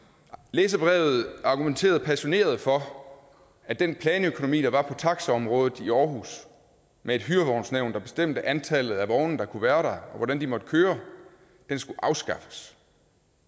læserbrevet argumenterede passioneret for at den planøkonomi der var på taxiområdet i aarhus med et hyrevognsnævn der bestemte antallet af vogne der kunne være der og hvordan de måtte køre skulle afskaffes